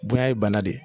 Bonya ye bana de ye